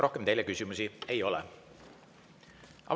Rohkem teile küsimusi ei ole.